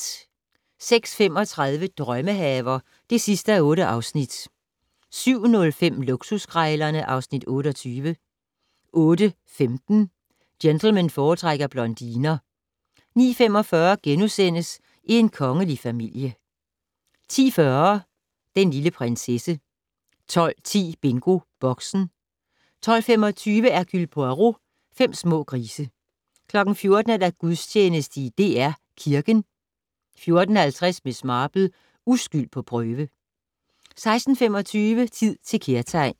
06:35: Drømmehaver (8:8) 07:05: Luksuskrejlerne (Afs. 28) 08:15: Gentlemen foretrækker blondiner 09:45: En kongelig familie (4:6)* 10:40: Den lille prinsesse 12:10: BingoBoxen 12:25: Hercule Poirot: Fem små grise 14:00: Gudstjeneste i DR Kirken 14:50: Miss Marple: Uskyld på prøve 16:25: Tid til kærtegn